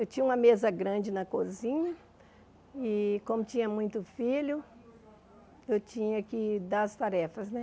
Eu tinha uma mesa grande na cozinha e, como tinha muito filho, eu tinha que dar as tarefas, né?